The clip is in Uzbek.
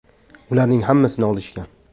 Ularning hammasini olishgan.